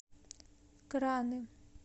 краны